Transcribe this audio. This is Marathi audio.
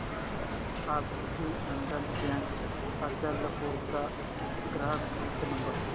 अभिनंदन बँक अचलपूर चा ग्राहक हित नंबर